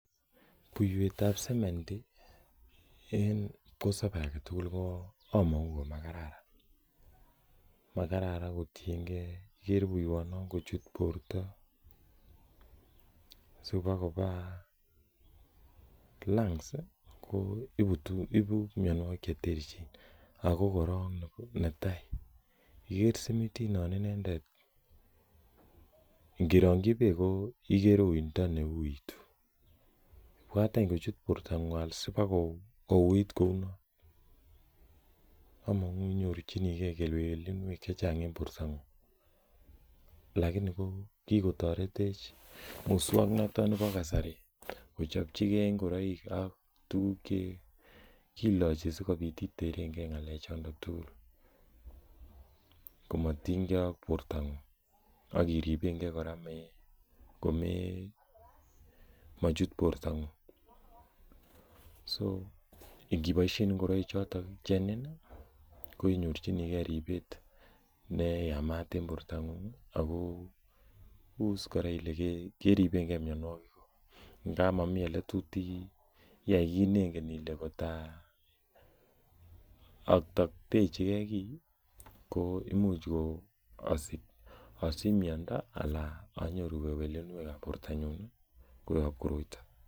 Buiwetab sementi koyache en kipkosobe agetugul ko makararan kotienge kochut borta sikoba lungs ibu mianogig cheterteren ago kora netai ingerangyi bek ko uundo ne huitu , I want en kochut borta ng'ung sibokouut inyorchikee kewelinuek chechang alakini kikotaretech musuaknotetab kasari kochobchige ingoraik ak tuguk che kilachi sikobit iterenge komatinynge ak akiribenge komachut iniboishen ingoraik kenyorchinege akot nebo ngab yaikit neingen Ile ak taktechi ke kiten ko imuche asinyorchike kole